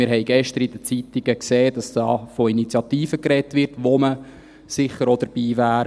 Wir haben gestern in den Zeitungen gesehen, dass von Initiativen gesprochen wird, bei denen man sicher auch dabei wäre.